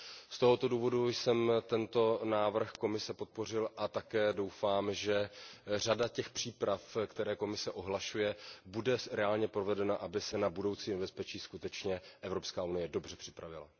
Z tohoto důvodu jsem tento návrh Komise podpořil a také doufám, že řada těch příprav, které Komise ohlašuje, bude reálně provedena, aby se na budoucí nebezpečí skutečně Evropská unie dobře připravila.